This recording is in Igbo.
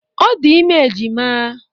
Ọ dị ime ejima.